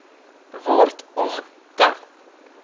word om te